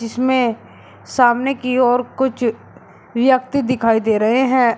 जिसमें सामने कि ओर कुछ व्यक्ति दिखाई दे रहे हैं।